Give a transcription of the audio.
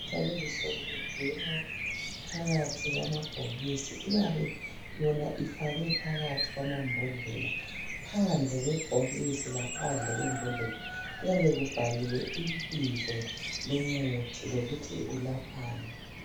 Imithi yalezi nsuku igcinwa phakathi kwamabhokisi iyabe yona ifakwe phakathi kwamabodlela. Phandle kwebhokisi laphandle kwembodlela kuyabe kubhalwe ibizo lomuthi lokuthi ulaphani.